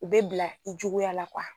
U bɛ bila i juguya la